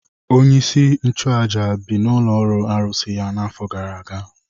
Onyeisi nchụaja bi n’ụlọ arụsị ya n’afọ gara aga.